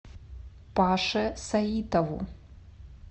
паше саитову